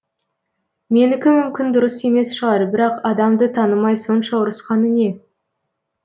менікі мүмкін дұрыс емес шығар бірақ адамды танымай сонша ұрысқаны не